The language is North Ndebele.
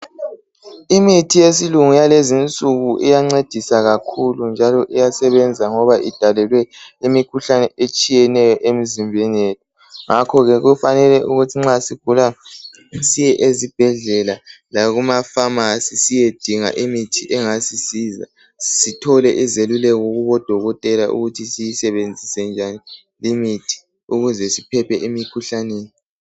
Imithi yesilungu yalezinsuku iyancedisa kakhulu njalo iyasebenza ngoba idalelwe imikhuhlane etshiyeneyo emizimbeni yethu. Ngakho ke kufanele ukuthi nxa sigula, siye ezibhedlela lakuma famasi siyedinga imithi engasisiza. Sithole izeluleko kubodokotela ukuthi siyisebenzise njani imithi ukuze siphephe emikhuhlaneni.